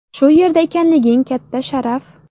Shu yerda ekanliging katta sharaf.